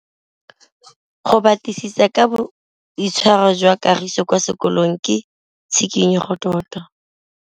Go batlisisa ka boitshwaro jwa Kagiso kwa sekolong ke tshikinyêgô tota.